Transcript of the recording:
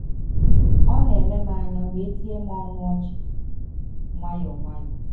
Ọ na-ele m anya wee tie m ọnụ ọchị nwayọọ nwayọọ.